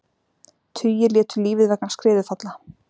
Tugir létu lífið vegna skriðufalla